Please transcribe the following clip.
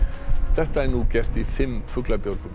þetta er nú gert í fimm fuglabjörgum